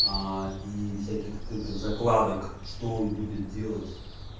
и всяких крытых закладок что он будет делать